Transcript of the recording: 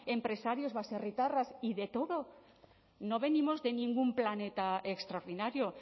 empresarios baserritarras y de todo no venimos de ningún planeta extraordinario